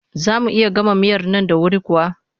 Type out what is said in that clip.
Za mu iya gama miyar nan da wuri kuwa?